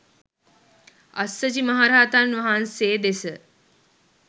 අස්සජි මහරහතන් වහන්සේ දෙස